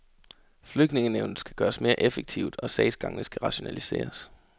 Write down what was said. Flygtningenævnet skal gøres mere effektivt og sagsgangene skal rationaliseres.